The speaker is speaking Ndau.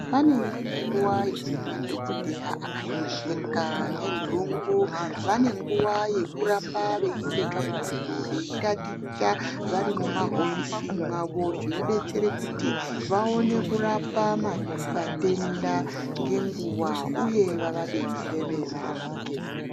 Pane imweni nguwa yekuti madhokodheya akahlupeka ngenthungu vane nguwa yekuramba veiite tsvakurudzo veiitaticha vari mumahofisi mwavo zvinodetsere kuti vaone kurapa vatenda ngenguwa uye vavadetsere varapike.